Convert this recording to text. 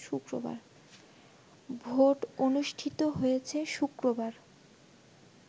vote অনুষ্ঠিত হয়েছে শুক্রবার